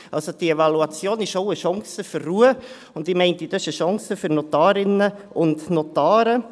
Also: Diese Evaluation ist auch eine Chance für Ruhe, und ich würde meinen, das ist eine Chance für Notarinnen und Notare.